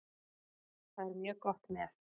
Það er mjög gott með.